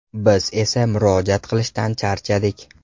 Biz esa murojaat qilishdan charchadik.